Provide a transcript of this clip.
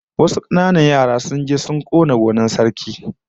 Wasu kananan yara sun je sun kona gonar Sarki